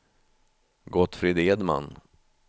Gottfrid Edman